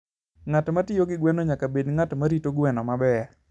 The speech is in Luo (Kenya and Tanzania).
Ng'at ma tiyo gi gweno nyaka bed ng'at ma rito gweno maber.